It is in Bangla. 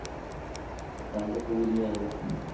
তাহলে তো খুব এনজয় হবে